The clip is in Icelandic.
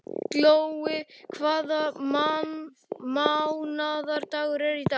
Glói, hvaða mánaðardagur er í dag?